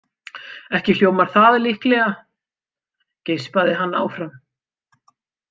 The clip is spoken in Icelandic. Ekki hljómar það líklega, geispaði hann áfram.